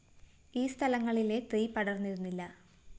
ഈ സ്ഥലങ്ങളിലെ തീ പടര്‍ന്നിരുന്നില്ല